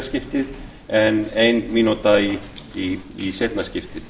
skiptið en ein mínúta í seinna skiptið